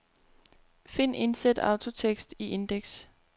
Find indsæt autotekst i indeks.